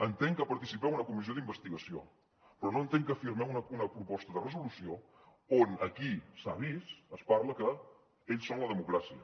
entenc que participeu en una comissió d’investigació però no entenc que firmeu una proposta de resolució on aquí s’ha vist es parla que ells són la democràcia